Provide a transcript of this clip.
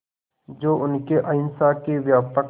जो उनके अहिंसा के व्यापक